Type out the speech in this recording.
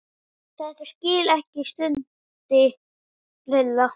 Þetta skil ég ekki stundi Lilla.